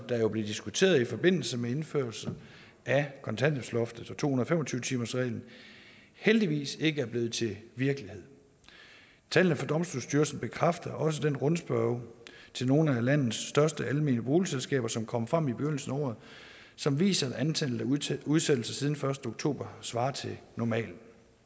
der jo blev diskuteret i forbindelse med indførelse af kontanthjælpsloftet og to hundrede og fem og tyve timersreglen heldigvis ikke er blevet til virkelighed tallene fra domstolsstyrelsen bekræfter også den rundspørge til nogle af landets største almene boligselskaber som kom frem i begyndelsen af året som viser at antallet af udsættelser siden den første oktober svarer til normalen